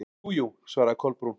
Jú, jú- svaraði Kolbrún.